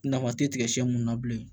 Nafa tɛ tigɛ mun na bilen